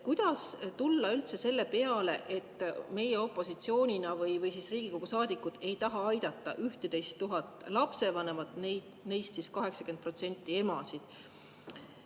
Kuidas tulla üldse selle peale, et meie opositsioonina või Riigikogu saadikutena ei taha aidata 11 000 lapsevanemat, kellest 89% on emad?